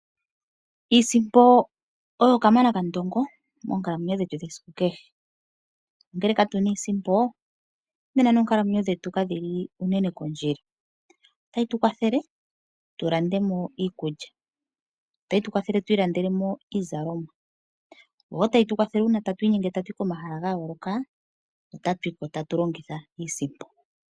Iisimpo oyo kamana kandongo moonkalamwenyo dhetu dhesiku kehe, nongele katuna iisimpo nena noonkalamwenyo dhetu kadhili uunene kondjila. Otayi tu kwathele tu lande mo iikulya, iizalomwa noshowo ngele ta yi tu kwathele uuna tatu inyenge okuya komahala ga yooloka otatu longitha iisimpo.